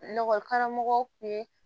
karamɔgɔw kun ye